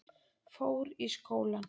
Fór í skólann.